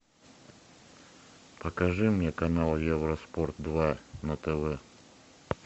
покажи мне канал евроспорт два на тв